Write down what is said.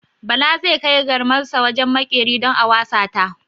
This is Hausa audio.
Bala zai kai garmarsa wajen maƙeri don a wasa ta.